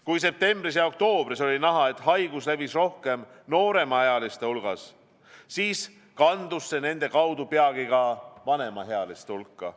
Kui septembris ja oktoobris oli näha, et haigus levis rohkem nooremaealiste hulgas, siis kandus see nende kaudu peagi ka vanemaealiste hulka.